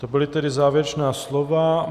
To byla tedy závěrečná slova.